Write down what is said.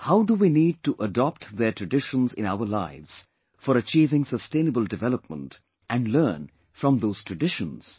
How do we need to adopt their traditions in our lives for achieving sustainable development and learn from those traditions